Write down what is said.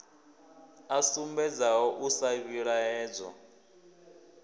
a sumbedzaho u sa vhilaedzwa